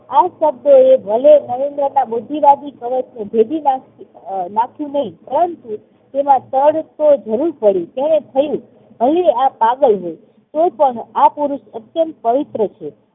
આ શબ્દોએ ભલે નરેન્દ્રના બુદ્ધિવાદી મનસને ભેદી નાખ્યું નહી પરંતુ તેમાં તડ તો જરૂર પડી. તેને થયું ભલે આ પાગલ છે તો પણ આ પુરુષ અત્યંત પવિત્ર છે.